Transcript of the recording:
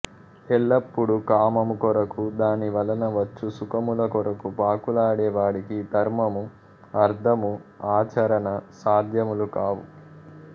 ఎల్లపుడూ కామము కొరకు దాని వలన వచ్చు సుఖముల కొరకు పాకులాడే వాడికి ధర్మము అర్ధము ఆచరణ సాధ్యములు కావు